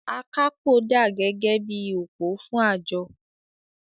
“Akápò dà gẹ́gẹ́ bí i òpó fún àjọ.